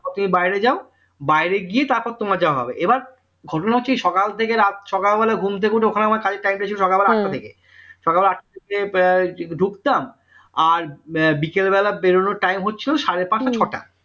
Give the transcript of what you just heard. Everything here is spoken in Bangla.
তুমি বাইরে যাও বাইরে গিয়ে তারপর তোমার যা হবে এবার ঘটনা হচ্ছে যে সকাল থেকে রাত সকালবেলা ঘুম থেকে উঠে ওখানে আমার কাজের time টা ছিল সকালবেলা আটটা থেকে সকাল আটটা থেকে ঢুকতাম আর বিকাল বেলায় বেড়ানোর time হচ্ছে ওই সাড়ে পাঁচটা ছয়টা